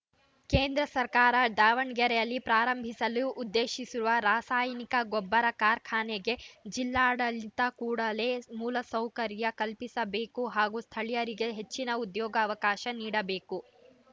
ಕೇಂದ್ರ ಸರ್ಕಾರ ದಾವಣಗೆರೆಯಲ್ಲಿ ಪ್ರಾರಂಭಿಸಲು ಉದ್ದೇಶಿಸಿರುವ ರಾಸಾಯನಿಕ ಗೊಬ್ಬರ ಕಾರ್ಖಾನೆಗೆ ಜಿಲ್ಲಾಡಳಿತ ಕೂಡಲೇ ಮೂಲ ಸೌಕರ್ಯ ಕಲ್ಪಿಸಬೇಕು ಹಾಗೂ ಸ್ಥಳಿಯರಿಗೆ ಹೆಚ್ಚಿನ ಉದ್ಯೋಗ ಅವಕಾಶ ನೀಡ ಬೇಕು